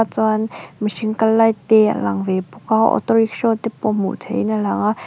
chuan mihring kal lai te a lang ve bawk a auto rickshaw te pawh hmuh theihin a lang a.